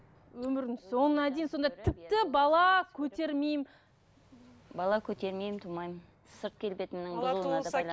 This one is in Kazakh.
өмірдің соңына дейін сонда тіпті бала көтермеймін бала көтермеймін тумаймын сырт келбетімнің бұзылуына да